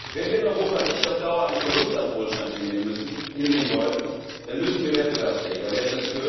Wenn wir in Europa nicht auf Dauer einen Verlust an Wohlstand hinnehmen wollen, dann müssen wir wettbewerbsfähiger werden.